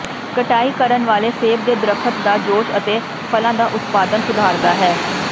ਕਟਾਈ ਕਰਨ ਵਾਲੇ ਸੇਬ ਦੇ ਦਰਖ਼ਤ ਦਾ ਜੋਸ਼ ਅਤੇ ਫਲਾਂ ਦਾ ਉਤਪਾਦਨ ਸੁਧਾਰਦਾ ਹੈ